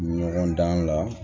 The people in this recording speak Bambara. Ɲɔgɔn dan la